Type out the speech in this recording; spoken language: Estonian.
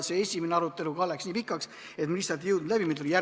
Esimene arutelu läks nii pikaks, et me lihtsalt ei jõudnud kõike läbi võtta.